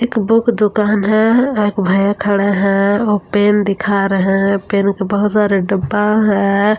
एक बुक दुकान है एक भैया खड़े हैं वो पेन दिखा रहे हैं पेन के बहुत सारे डब्बा हैं।